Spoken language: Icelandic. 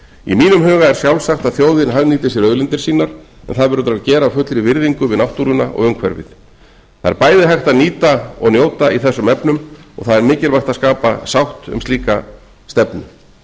í mínum huga er sjálfsagt að þjóðin hagnýti sér auðlindir sínar en það verður að gera af fullri virðingu við náttúruna og umhverfið það er bæði hægt að nýta og njóta í þessum efnum og það er mikilvægt að skapa sátt um slíka stefnu